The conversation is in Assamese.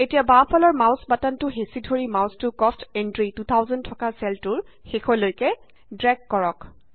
এতিয়া বাওঁফালৰ মাউছ বাটনটো হেঁচি ধৰি মাউছটো কষ্ট এন্ট্ৰি 2000 থকা চেলটোৰ শেষলৈকে ড্ৰেগ কৰক